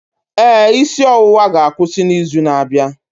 Ee, isi ọwụwa ga-akwụsị n'izu na-abịa.